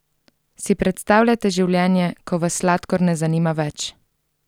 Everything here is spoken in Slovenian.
Si predstavljate življenje, ko vas sladkor ne zanima več?